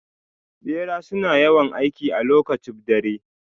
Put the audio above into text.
Bera suna yawan aiki a lokacib dare.